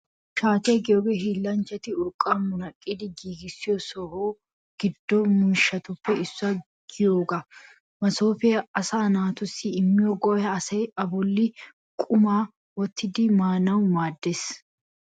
Shaatiyaa giyoogee hiillanchchati urqqaa munaqqidi giigissiyo so giddo mishshatuppe issuwaa giyoogaa. Masoofee asaa naatussi immiyo go'ay asay A bolli qumaa wottidi maanawu maaddees.